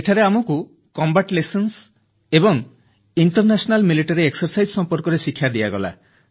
ସେଠାରେ ଆମକୁ ମୁକାବିଲା କୌଶଳ ଏବଂ ଅନ୍ତର୍ଜାତୀୟ ପ୍ରତିରକ୍ଷା ଅଭ୍ୟାସ ସମ୍ପର୍କରେ ଶିକ୍ଷା ଦିଆଗଲା